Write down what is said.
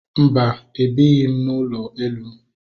Mba, ebighị m n'ụlọ elu